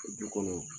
Du kɔnɔ